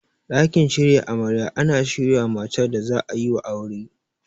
Ɗakin shirya amarya ana shirya mata da za'ayiwa aure.